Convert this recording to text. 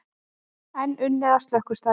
Enn unnið að slökkvistarfi